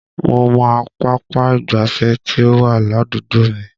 Mo mọ pápá ìgbáfẹ́ tí ó wà ládùúgbò mi